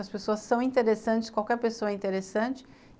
As pessoas são interessantes, qualquer pessoa é interessante.